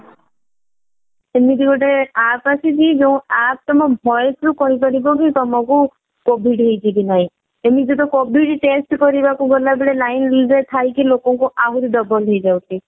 ଏମିତି ଗୋଟେ aap ଆସିଛି ଯୋଊ aap ତମ voice ରୁ ହିଁ କହିପାରିବ କି ତମକୁ covid ହେଇଛି କି ନାଇଁ ଏମିତି ତ covid test କରିବାକୁ ଗଲାବେଳେ line ରେ ଥାଇକି ଲୋକଙ୍କୁ ଆହୁରି double ହେଇଯାଉଛି